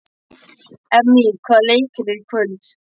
Emmý, hvaða leikir eru í kvöld?